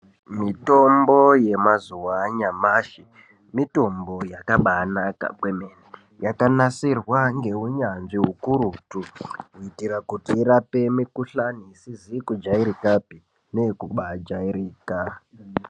Mitombo yemazuva anyashi, mitombo yakabaanaka kwemene yakanasirwa ngevane unyanzvi ukurutu kuitira kuti varape mikuhlani isizi kujairikapi neyekabaajairika.